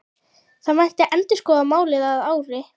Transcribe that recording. Það mætti endurskoða málið að ári.